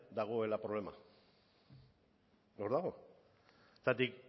dagoela problema hor dago zergatik